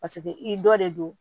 Paseke i dɔ de don